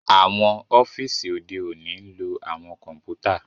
Awọn ọfiisi ode oni ń lo awọn kọǹpútà